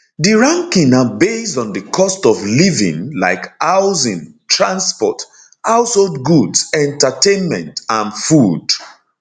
di ranking na based on di cost of living like housing transport household goods entertainment and food